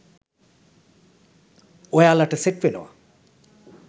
ඔයාලට සෙට් වෙනවා.